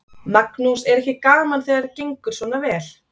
Magnús: Er ekki gaman þegar gengur svona vel?